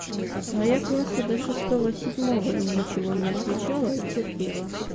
а я класса для шестого седьмого ничего не отвечала и терпела